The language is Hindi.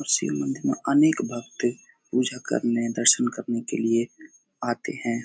और शिव मंदिर में अनेक भगत पूजा करने दर्शन करने के लिए आते हैं।